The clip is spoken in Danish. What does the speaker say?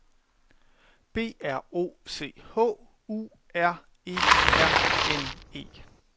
B R O C H U R E R N E